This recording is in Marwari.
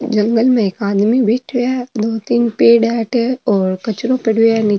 जंगल में एक आदमी बैठा है दो तीन पेड़ है आठे और कचरो पड़ो है नी --